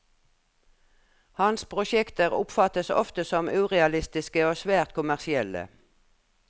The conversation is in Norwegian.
Hans prosjekter oppfattes ofte som urealistiske og svært kommersielle.